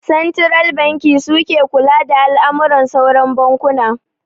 Santiral banki suke kula da al'amuran sauran bankuna